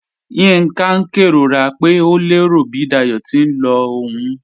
Yinka n kẹrora pe o lẹro bi Dáyọ̀ ti n lọ ọ̀un.